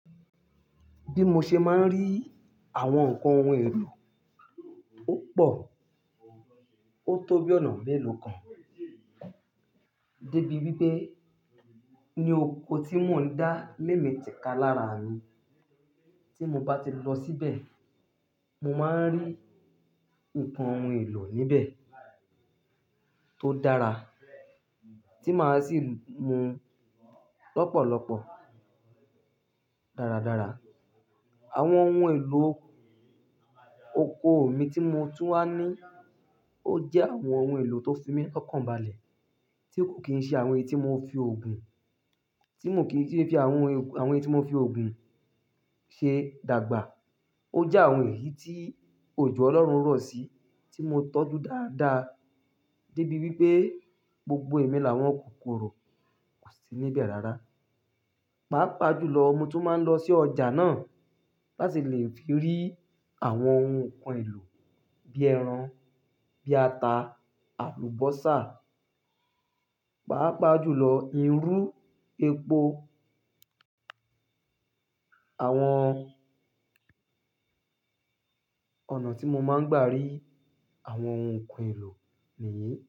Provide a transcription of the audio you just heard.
Bí mo ṣe máa ń rí àwọn nǹkan ohun èlò opọ̀, ó tó bí ọ̀nà mélòó kan dé bí wípé ní oko tí mò ń dá lémi tika lára mi. Tí mo bá ti lọ síbẹ̀, mo máa ń rí nǹkan ohun èlò níbẹ̀ tó dára tí màá sì lu lọ́pọ̀lọpọ̀ dáradára. Àwọn ohun èlò oko mi tí mo tún wá ní ó jẹ́ àwọn ohun èlò tó fi mí ọkàn balẹ̀ tí kò kì n ṣe àwọn èyí tí mò fi ògùn, tí mò kí ì fi awon, àwọn èyí tí mò fi ògùn ṣe dàgbà. Ó jẹ́ àwọn èyí tí òjò Ọlọ́run rọ̀ sí tí mo tọ́jú dáadáa dé bí wípé gbogbo ẹ̀mí làwọn kò korò, kò sí níbẹ̀ rara. Pàápàá jùlọ, mo tún máa ń lọ sí ọjà náà láti lè fi rí àwọn ohun nǹkan èlò bí ẹran, bí ata, àlùbọ́sà. Pàápàá jùlọ, irú, epo. Àwọn ọ̀nà tí mo máa ń gbà rí àwọn ohun nǹkan èlò nìyí.